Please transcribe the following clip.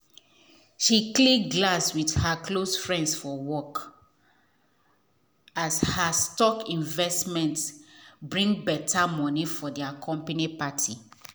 she click glass with her close friends for work as her stock investment bring better money for there company party.